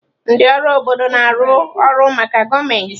Ndị ọrụ obodo na-arụ ọrụ maka gọọmentị.